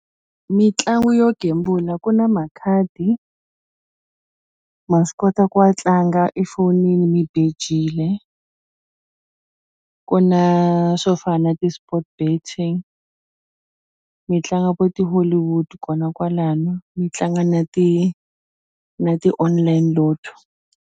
Mitlangu yo gembula ku na makhadi ma swi kota ku wa tlanga efonini mi bejile ku na swo fana na ti-sport betting mi tlanga vo ti-Hollywood kona kwalano mi tlanga na ti na ti online Lotto.